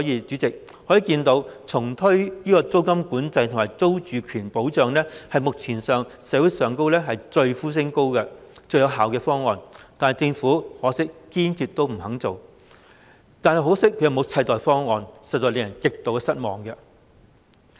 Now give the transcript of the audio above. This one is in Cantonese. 主席，由此可見，重推租金管制和租住權保障是目前社會上呼聲最高、最有效的方案，可惜政府堅決不肯做，同時又沒有替代方案，實在令人極為失望。